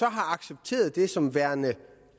accepteret det som værende